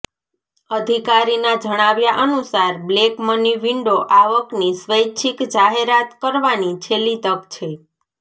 અધિકારીના જણાવ્યા અનુસાર બ્લેક મની વિન્ડો આવકની સ્વૈચ્છિક જાહેરાત કરવાની છેલ્લી તક છે